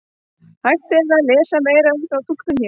Hægt er að lesa meira um þá túlkun hér.